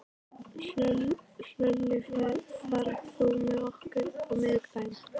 Hlölli, ferð þú með okkur á miðvikudaginn?